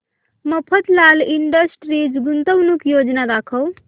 Mafatlal Industries गुंतवणूक योजना दाखव